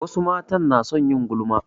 Wasu matan na son yin gulma